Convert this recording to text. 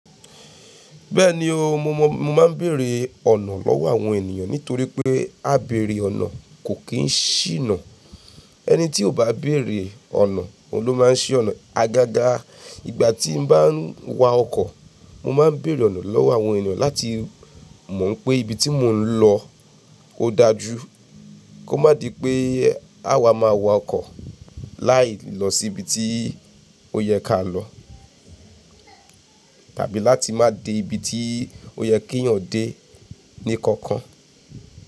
Bẹ́ẹ̀ni o, mo máa ń bèèrè ọ̀nà lọ́wọ́ àwọn ènìyàn nítorí pé ábèèrè ọ̀nà kò kì í ṣìnà. Ẹni tí ò bá bèèrè ọ̀nà, òun ló máa ń ṣí ọ̀nà. Agaga ìgbà tí mo bá ń wa ọkọ̀, mo máa ń bèèrè ọ̀nà lọ́wọ́ àwọn ènìyàn láti mọ̀ n pé ibi tí mò ń lọ ó dájú, kó má di pé à wa máa wọ ọkọ̀ láì lọ sí ibi tí ó yẹ ká lọ tàbí láti má dé ibi tí ó yẹ kí ènìyàn dé ní kankan.